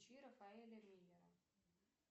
включи рафаэля миллера